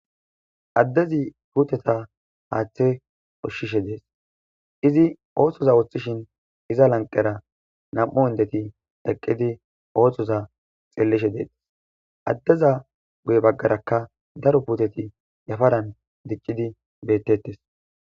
Addezi puuteta haaththe ushshishe dees izi ooththoza wuththishin iza lanqera nam7u hindeti deqqidi oohthoza xellishe deetes addeza guye baggarakka daro puuteti yafaran diccidi bettettes.